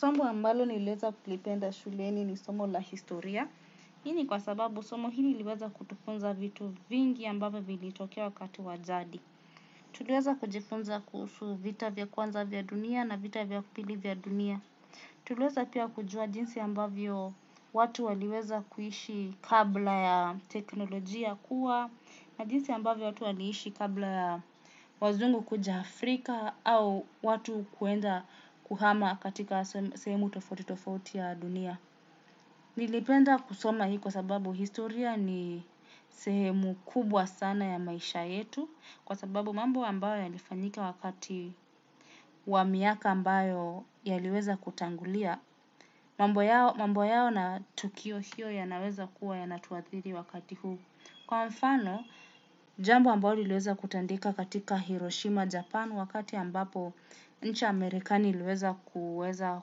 Somo ambalo niliweza kulipenda shuleni ni somo la historia. Hii ni kwa sababu somo hili liliweza kutufunza vitu vingi ambavyo vilitokea wakati wa jadi. Tuliweza kujifunza kuhusu vita vya kwanza vya dunia na vita vya pili vya dunia. Tuliweza pia kujua jinsi ambavyo watu waliweza kuishi kabla ya teknolojia kuwa na jinsi ambavyo watu waliishi kabla ya wazungu kuja Afrika au watu kuenda kuhama katika sehemu tofauti tofauti ya dunia. Nilipenda kusoma hii kwa sababu historia ni sehemu kubwa sana ya maisha yetu kwa sababu mambo ambayo yalifanyika wakati wa miaka ambayo yaliweza kutangulia. Mambo yao na tukio hiyo yanaweza kuwa yanatuathiri wakati huu. Kwa mfano, jambo ambayo liliweza kutendeka katika Hiroshima, Japan wakati ambapo nchi amerikani iliweza kuweza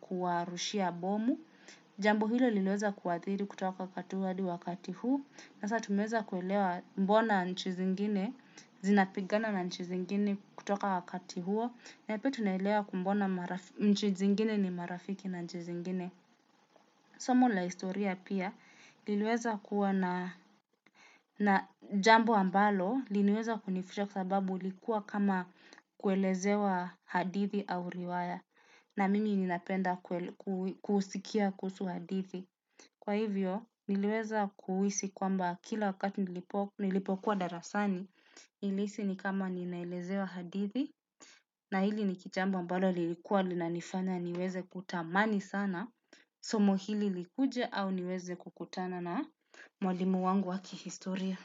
kuwarushia bomu, jambo hilo liliweza kuathiri kutoka wakati huo hadi wakati huu, sasa tumeweza kuelewa mbona nchi zingine, zinapigana na nchi zingine kutoka wakati huo, na pia tunaelewa mbona nchi zingine ni marafiki na nchi zingine. Somo la historia pia, liliweza kuwa na na jambo ambalo, liliweza kunifurahisha kwa sababu lilikuwa kama kuelezewa hadithi au riwaya, na mimi ninapenda kusikia kuhusu hadithi. Kwa hivyo, niliweza kuhisi kwamba kila wakati nilipokuwa darasani, nilihisi ni kama ninaelezewa hadithi, na hili ni jambo ambalo lilikuwa linanifanya niweze kutamani sana. Somo hili likuje au niweze kukutana na mwalimu wangu wa kihistoria.